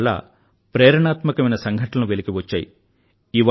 వాటి వల్ల ప్రేరణాత్మకమైన సంఘటనలు వెలికివచ్చాయి